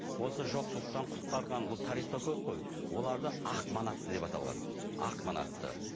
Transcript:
осы жоқшылықтан құтқарған бұл тарихта көп қой оларды ақ манатты деп аталған ақ манатты